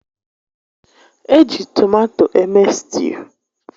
Eji tomato eme stuu